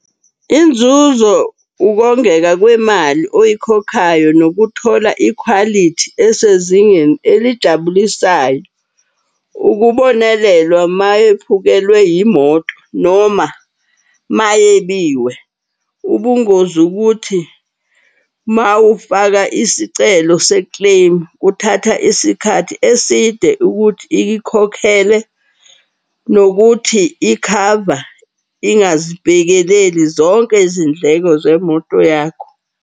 Inzuzo ukongeka kwemali oyikhokhayo nokuthola ikhwalithi esezingeni elijabulisayo. Ukubonelelwa mayephukelwe yimoto noma mayebiwe. Ubungozi ukuthi mawufaka isicelo se-claim kuthatha isikhathi eside ukuthi ikikhokhele. Nokuthi ikhava ingazibhekeleleli zonke izindleko zemoto yakho.